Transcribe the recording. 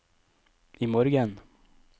imorgen